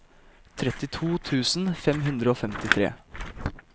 trettito tusen fem hundre og femtitre